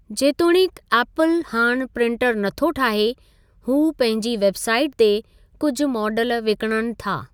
जेतोणीकि एप्पल हाणि प्रिंटर नथो ठाहे, हूअ पंहिंजी वेबसाइट ते कुझु मॉडल विकिञणु था।